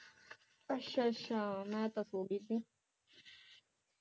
ਅੱਛਾ ਅੱਛਾ ਮੈਂ ਤਾ ਸੋ ਗਈ ਸੀ